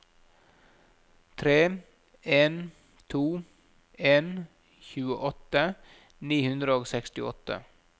tre en to en tjueåtte ni hundre og sekstiåtte